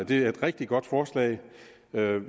det er et rigtig godt forslag